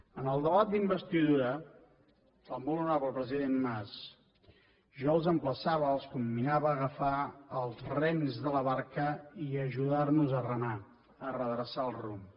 en el debat d’investidura el molt honorable president mas ja els emplaçava els comminava a agafar els rems de la barca i ajudar nos a remar a redreçar el rumb